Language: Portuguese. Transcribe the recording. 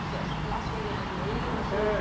Você achou que lá você ia ganhar dinheiro? Se É